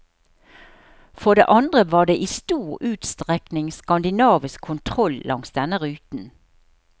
For det andre var det i stor utstrekning skandinavisk kontroll langs denne ruten.